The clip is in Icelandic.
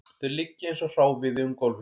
Þau liggja eins og hráviði um gólfið